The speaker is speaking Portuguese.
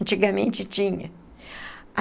Antigamente tinha.